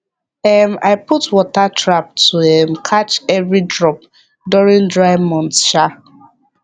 um i put water trap to um catch every drop during dry months um